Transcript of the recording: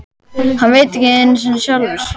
Hann veit það ekki einu sinni sjálfur.